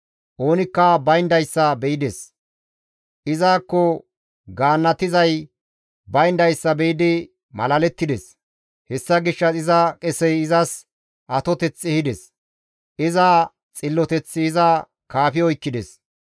Oonikka bayndayssa be7ides; izakko gaannatizay bayndayssa be7idi malalettides; Hessa gishshas iza qesey izas atoteth ehides; iza xilloteththi iza kaafi oykkides.